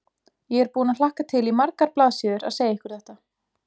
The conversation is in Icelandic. Ég er búin að hlakka til í margar blaðsíður að segja ykkur þetta.